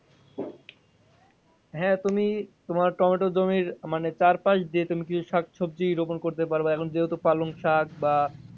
হ্যাঁ তুমি তোমার টমেটো জমির চার পাস দিয়ে তুমি কি শাকসবজি রোপণ করতে পারো এখন যেহেতু পালং শাক বা,